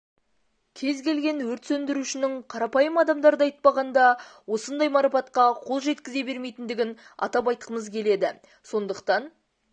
кез келген өрт сөндірушінің қарапайым адамдарды айтпағанда осындай марапатқа қол жеткізе бермейтіндігін атап айтқымыз келеді сондықтан